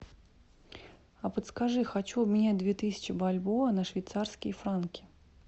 а подскажи хочу обменять две тысячи бальбоа на швейцарские франки